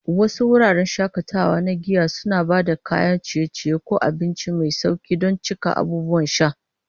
Wasu wuraren shakatawa na giya suna ba da kayan ciye-ciye ko abinci mai sauƙi don cika abubuwan sha.